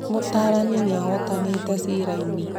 Mũtaarani nĩ ahootanĩte cira-inĩ